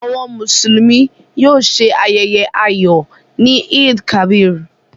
Àwọn Mùsùlùmí yóò ṣe ayẹyẹ ayọ̀ ni Eid-el-Kabir.